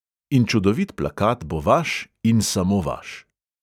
In čudovit plakat bo vaš in samo vaš.